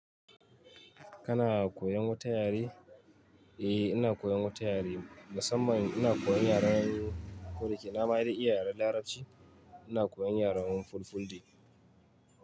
Kana koyan wata yare? Eh ina koyan wata yare musamman ina koyan yaren kodake nama dai iya yaren larabci ina koyan yaren Fulfulde.